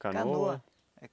Canoa?